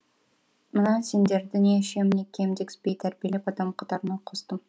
мына сендерді не ішем не кием дегізбей тәрбиелеп адам қатарына қостым